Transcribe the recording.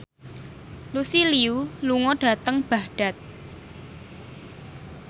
Lucy Liu lunga dhateng Baghdad